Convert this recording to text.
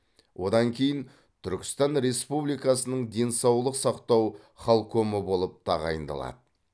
одан кейін түркістан республикасының денсаулық сақтау халкомы болып тағайындалады